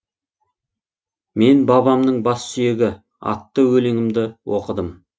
мен бабамның бас сүйегі атты өлеңімді оқыдым